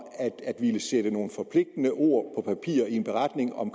at ville sætte nogle forpligtende ord på papir i en beretning om